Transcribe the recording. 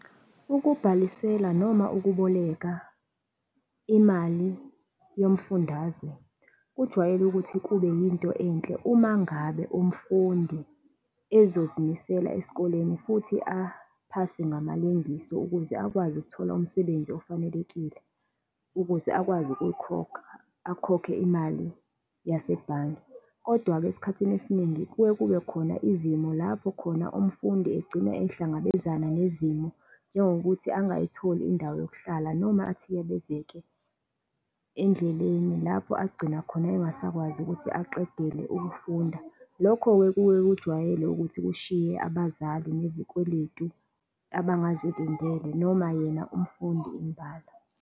Ukubhalisela noma ukuboleka imali yomfundazwe, kujwayele ukuthi kube yinto enhle uma ngabe umfundi ezozimisela esikoleni futhi aphase ngamalengiso ukuze akwazi ukuthola umsebenzi ofanelekile, ukuze akwazi ukuyikhokha, akhokhe imali yasebhange. Kodwa-ke esikhathini esiningi kuye kube khona izimo lapho khona umfundi egcine ehlangabezana nezimo, njengokuthi angakayitholi indawo yokuhlala, noma athiyabezeke endleleni lapho agcina khona engasakwazi ukuthi aqedele ukufunda. Lokho-ke kuwe kujwayele ukuthi kushiye abazali nezikweletu abangazilindele, noma yena umfundi imbala.